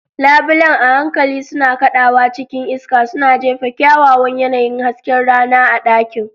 Labulen a hankali suna kaɗawa cikin iska, suna jefa kyawawan yanayin hasken rana a ɗakin.